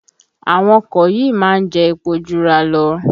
Àwọn ọkọ̀ yìí má ń jẹ́ epo Jura lọ